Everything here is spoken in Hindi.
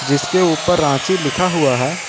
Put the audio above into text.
जिसके ऊपर रांची लिखा हुआ है।